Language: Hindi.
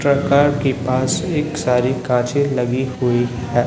के पास एक सारी काचे लगी हुई है।